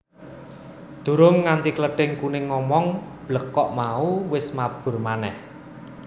Durung nganti Klething Kuning ngomong blekok mau wis mabur manèh